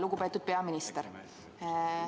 Lugupeetud peaminister!